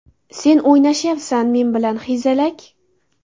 Sen o‘ynashyapsan men bilan, hezalak!